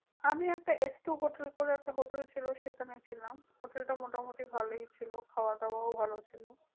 আমি একটা hotel বলে একটা hotel ছিল, সেখানে ছিলাম। hotel টা মোটামুটি ভালোই ছিল, খাওয়া-দাওয়াও ভালো ছিল।